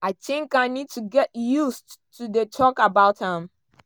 "i tink i need to get used to dey tok about am